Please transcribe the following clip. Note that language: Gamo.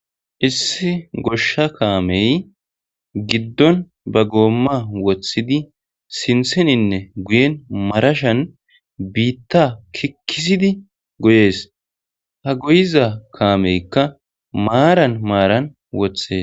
Issi goshsha kaamey giddon ba goomma wothidi sintheninne guyen marashan biitta kikkisidi goyees .ha goyiza kaameykka maaran maaran woththees.